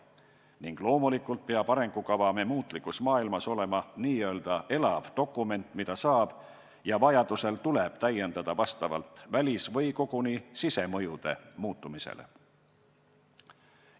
Ning loomulikult peab arengukava me muutlikus maailmas olema n-ö elav dokument, mida saab ja vajadusel tuleb täiendada vastavalt välis- või koguni sisemõjude muutumisele.